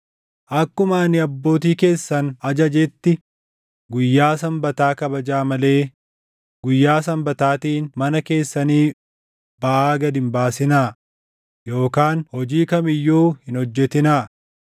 Akkuma ani abbootii keessan ajajetti guyyaa Sanbataa kabajaa malee guyyaa Sanbataatiin mana keessanii baʼaa gad hin baasinaa yookaan hojii kam iyyuu hin hojjetinaa.